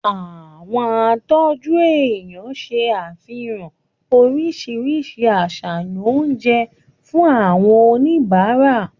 Àwọn àtòjọ-ẹ̀yàn ṣe àfihàn oríṣiríṣi àṣàyàn oúnjẹ fún àwọn oníbàárà.